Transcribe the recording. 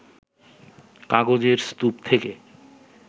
কাগজের স্তূপ থেকে